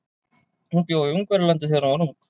Hún bjó í Ungverjalandi þegar hún var ung.